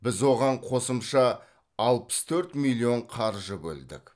біз оған қосымша алпыс төрт миллион қаржы бөлдік